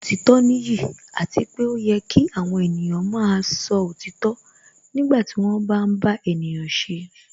Òtítọ́ nìyí àti pé ó yẹ kí àwọn ènìyàn máa sọ òtítọ́ nígbà tí wọ́n bá ń bá ènìyàn ṣe